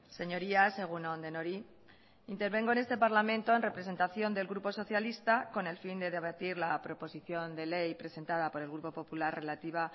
señorías egun on denoi intervengo en este parlamento en representación del grupo socialista con el fin de debatir la proposición de ley presentada por el grupo popular relativa